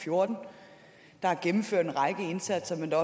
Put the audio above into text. fjorten og at der er gennemført en række indsatser men der